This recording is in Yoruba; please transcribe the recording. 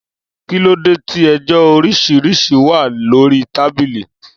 Kìlódè tí ẹjọ òrísìrísì wà lòrí tàbílì?